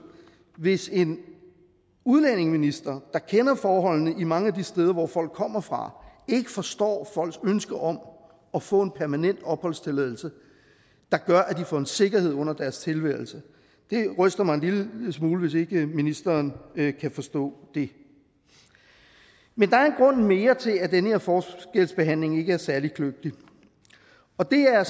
hvis en udlændingeminister der kender forholdene mange af de steder hvor folk kommer fra ikke forstår folks ønske om at få en permanent opholdstilladelse der gør at de får en sikkerhed under deres tilværelse det ryster mig en lille smule hvis ikke ministeren kan forstå det men der er en grund mere til at den her forskelsbehandling ikke er særlig kløgtig og det er